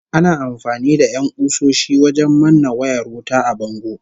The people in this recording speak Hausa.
Ana amfani da 'yan ƙusoshi wajen manne wayar wuta a bango